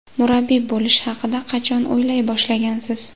Murabbiy bo‘lish haqida qachon o‘ylay boshlagansiz?